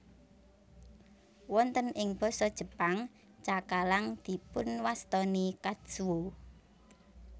Wonten ing Basa Jepang cakalang dipunwastani katsuo